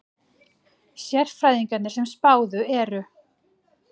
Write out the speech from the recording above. Sérfræðingarnir sem spáðu eru: